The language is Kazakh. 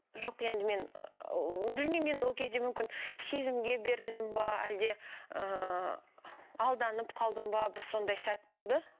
жоқ енді мен білмеймін енді ол кезде мүмкін сезімше берілдім бе әлде ыыы алданып қалдым ба бір сондай сәт болды